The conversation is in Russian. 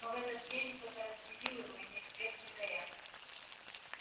но в этот день кто-то разбудил его и ни свет ни заря